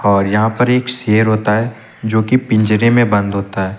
और यहां पर एक शेर होता है जो कि पिंजरे में बंद होता है।